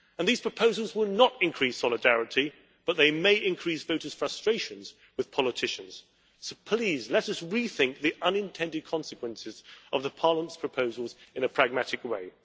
These proposals will not increase solidarity but they may increase voters' frustrations with politicians. Please let us rethink the unintended consequences of Parliament's proposals in a pragmatic way.